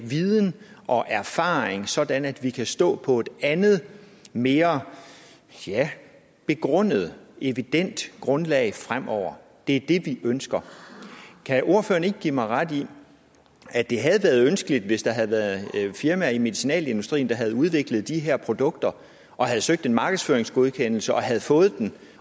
viden og erfaring sådan at vi kan stå på et andet mere begrundet evident grundlag fremover det er det vi ønsker kan ordføreren ikke give mig ret i at det havde været ønskeligt hvis der havde været firmaer i medicinalindustrien der havde udviklet de her produkter og havde søgt en markedsføringsgodkendelse og havde fået den